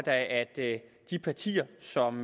da at de partier som